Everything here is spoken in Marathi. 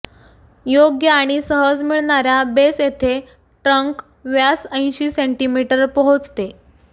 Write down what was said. योग्य आणि सहज मिळणार्या बेस येथे ट्रंक व्यास ऐंशी सेंटीमीटर पोहोचते